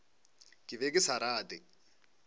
ke be ke sa rate